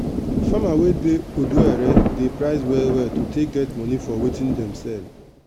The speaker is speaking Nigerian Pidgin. farmer wey dey odo ere dey price well well to take get good money for watin dem sell.